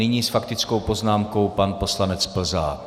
Nyní s faktickou poznámkou pan poslanec Plzák.